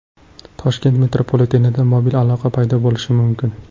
Toshkent metropolitenida mobil aloqa paydo bo‘lishi mumkin.